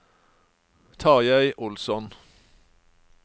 Tarjei Olsson